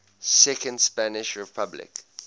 second spanish republic